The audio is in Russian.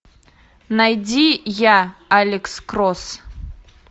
найди я алекс кросс